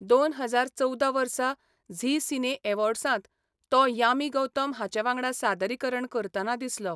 दोन हजार चवदा वर्सा झी सिने यॅवॉर्ड्सांत तो यामी गौतम हांचे वांगडा सादरीकरण करताना दिसलो.